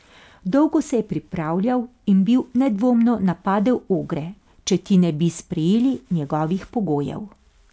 Dolgo se je pripravljal in bi nedvomno napadel Ogre, če ti ne bi sprejeli njegovih pogojev.